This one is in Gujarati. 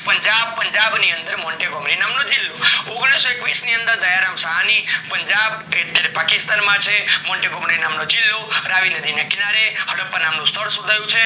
પુન્જબ, પુન્જબ ની અંદર મોહજ નામ નો જીલ્લો ઓગણીસો એકવીસ ની અંદર દયારામ સાહની પંજાબ એ અત્યારે પાકિસ્તાન માં છે, મોન્ટેગો નામ નો જીલ્લો રાવી નદી ના કીન્રાએ હદ્દાપા નામનું સ્તઃલ શોધાયું છે